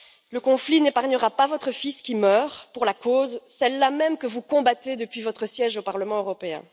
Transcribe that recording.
Le conflit n'épargnera pas votre fils qui meurt pour la cause, celle là même que vous combattez depuis votre siège au Parlement européen.